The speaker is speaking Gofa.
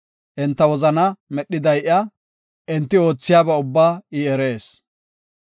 Enta wozanaa medhiday iya; enti oothiyaba ubbaa I erees.